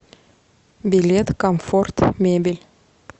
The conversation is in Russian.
билет комфорт мебель